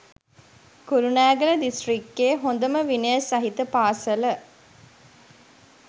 කුරුණෑගල දිස්ත්‍රික්කෙ හොදම විනය සහිත පාසල